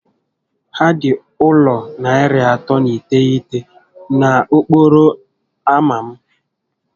Ha dị ụlọ narị atọ na iteghete na okporo ámá m